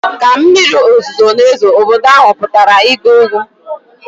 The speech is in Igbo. Ka mmiri ozuzo na-ezo, obodo ahụ pụtara ịgba egwu.